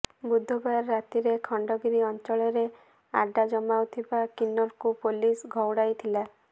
ବୁଧବାର ରାତିରେ ଖଣ୍ଡଗିରି ଅଞ୍ଚଳରେ ଆଡ୍ଡା ଜମାଉଥିବା କିନ୍ନରଙ୍କୁ ପୋଲିସ ଘଉଡ଼ାଇ ଥିଲା